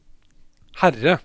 Herre